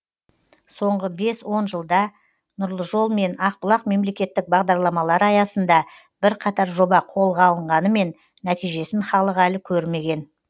соңғы бес он жылда нұрлы жол мен ақбұлақ мемлекеттік бағдарламалары аясында бірқатар жоба қолға алынғанымен нәтижесін халық әлі көрмеген